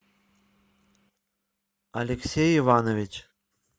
алексей иванович